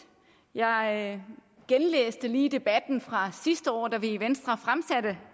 jeg genlæste lige debatten fra sidste år da vi i venstre fremsatte